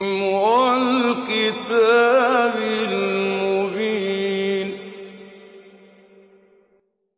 وَالْكِتَابِ الْمُبِينِ